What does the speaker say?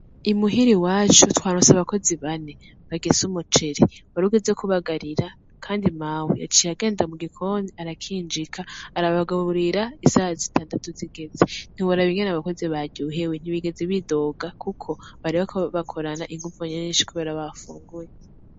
I muhira iwacu twaronse abakozi bane bagize umuceri. Warugeze kubagarira kandi mawe yaciye agenda mugikoni arakinjika arabagaburira isaha zitandatu zigeze. Ntiworaba ingene abakozi baryohewe, ntibigeze bidoga kuko bari bariko bakorana inguvu nyinshi kubera bafunguye.